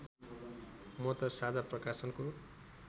म त साझा प्रकाशनको